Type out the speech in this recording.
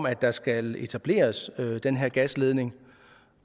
at der skal etableres den her gasledning